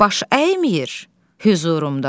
Baş əymir hüzurumda bu.